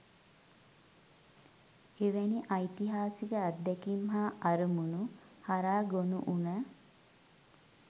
එවැනි ඓතිහාසික අත්දැකීම් හා අරමුණු හරහා ගොනුවුණ